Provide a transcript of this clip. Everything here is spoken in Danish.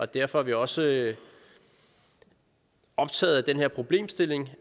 derfor er vi også optaget af den her problemstilling